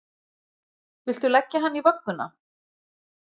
Viltu leggja hann í vögguna!